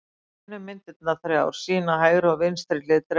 Grænu myndirnar þrjár sýna hægri og vinstri hlið drekans.